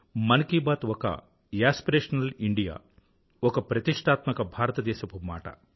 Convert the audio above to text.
మన్ కీ బాత్ ఒక aspirational India ఒక ప్రతిష్టాత్మక భారతదేశపు మాట